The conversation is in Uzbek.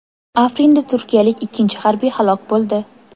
Afrinda turkiyalik ikkinchi harbiy halok bo‘ldi.